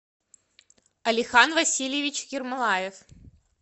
алихан васильевич ермолаев